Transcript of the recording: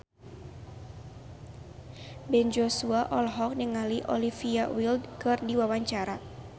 Ben Joshua olohok ningali Olivia Wilde keur diwawancara